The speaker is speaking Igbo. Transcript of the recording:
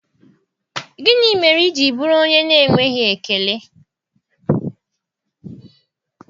Gịnị mere i ji bụrụ onye na-enweghị ekele?